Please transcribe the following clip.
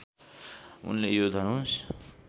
उनले यो धनुष